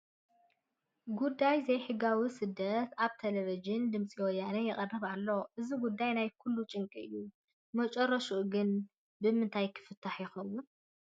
ጉዳይ ዘይሕጋዊ ስደት ኣብ ቴለብዥን ድምፂ ወያነ ይቐርብ ኣሎ፡፡ እዚ ጉዳይ ናይ ኩሉ ጭንቂ እዩ፡፡ መጨረሽኡ ግን ብምንታይ ክፍታሕ ይኸውን?